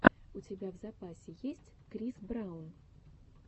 у тебя в запасе есть крис браун